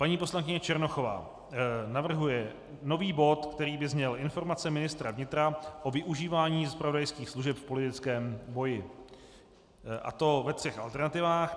Paní poslankyně Černochová navrhuje nový bod, který by zněl Informace ministra vnitra o využívání zpravodajských služeb v politickém boji, a to ve třech alternativách.